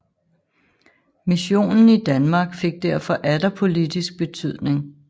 Missionen i Danmark fik derfor atter politisk betydning